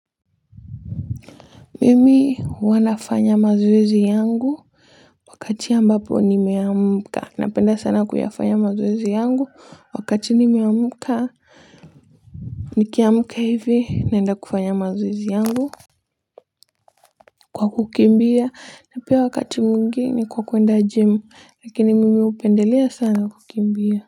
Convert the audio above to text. Mimi huwa nafanya mazoezi yangu wakati ambapo nimeamka. Napenda sana kuyafanya mazoezi yangu wakati nimeamka nikiamka hivi naenda kufanya mazoezi yangu, kwa kukimbia na pia wakati mwingine kwa kuenda gym lakini mimi hupendelea sana kukimbia.